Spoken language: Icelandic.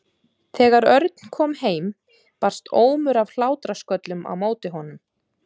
Þegar Örn kom heim barst ómur af hlátrasköllum á móti honum.